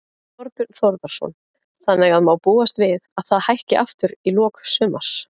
Þorbjörn Þórðarson: Þannig að má búast við að það hækki aftur í lok sumars?